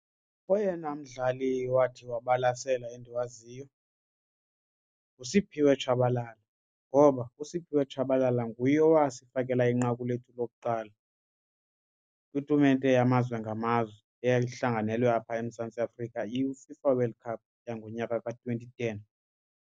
Oyena mdlali owathi wabalasela endiwaziyo nguSimphiwe Tshabalala ngoba uSimphiwe Tshabalala nguye owasifakela inqaku lethu lokuqala kwitumente yamazwe ngamazwe eyayihlanganelwe apha eMzantsi Afrika iFIFA World Cup yangonyaka ka twenty ten.